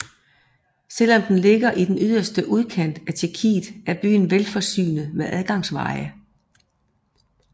Selv om den ligger i den yderste udkant af Tjekkiet er byen velforsynet med adgangsveje